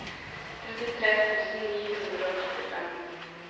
trettitre tusen ni hundre og trettifem